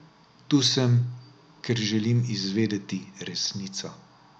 Tu sem, ker želim izvedeti resnico.